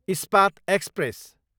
Ispat express